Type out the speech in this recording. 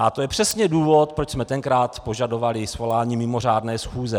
A to je přesně důvod, proč jsme tenkrát požadovali svolání mimořádné schůze.